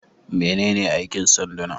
Menene aikin sanduna?